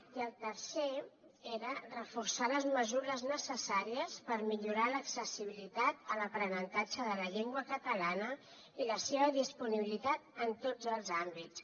i el tercer era reforçar les mesures necessàries per millorar l’accessibilitat a l’aprenentatge de la llengua catalana i la seva disponibilitat en tots els àmbits